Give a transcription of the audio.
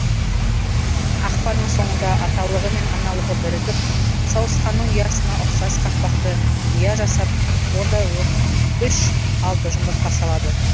ақпанның соңында аталығы мен аналығы бірігіп сауысқанның ұясына ұқсас қақпақты ұя жасап онда үш алты жұмыртқа салады